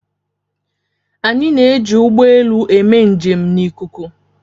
Anyị na-eji ụgbọ elu eme njem n'ikuku.